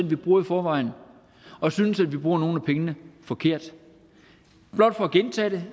vi bruger i forvejen og synes at vi bruger nogle af pengene forkert blot for at gentage det